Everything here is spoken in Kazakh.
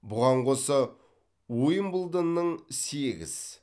бұған қоса уимблдонның сегіз